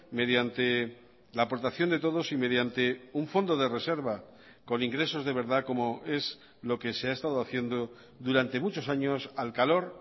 mediante la aportación de todos y mediante un fondo de reserva con ingresos de verdad como es lo que se ha estado haciendo durante muchos años al calor